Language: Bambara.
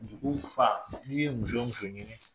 Musoko fa n'i ye muso muso ɲini